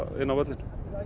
inn á völlinn